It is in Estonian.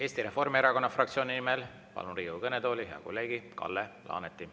Eesti Reformierakonna fraktsiooni nimel palun Riigikogu kõnetooli hea kolleegi Kalle Laaneti.